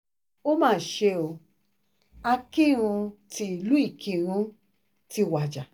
ó mà ṣe o akinrun tílu ìkírùn ti wájà